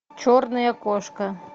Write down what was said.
черная кошка